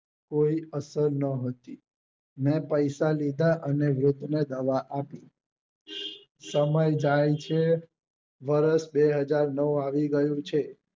કોઈ અસર નોહતી મેં પૈસા લીધા અને વૃદ્ધ ને દવા આપી સમય જાય છે વર્ષ બે હજાર નવ આવી ગયું છે